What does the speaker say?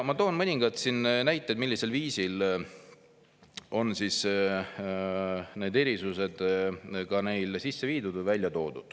Ma toon mõningad näited, millisel viisil on need erisused neil sisse viidud.